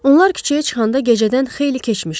Onlar küçəyə çıxanda gecədən xeyli keçmişdi.